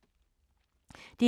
DR1